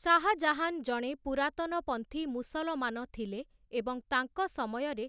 ଶାହା ଜାହାନ୍ ଜଣେ ପୁରାତନପନ୍ଥୀ ମୁସଲମାନ ଥିଲେ ଏବଂ ତାଙ୍କ ସମୟରେ